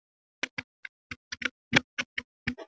Innst inni var Eddu dálítið skemmt yfir þessu háttalagi Árnýjar.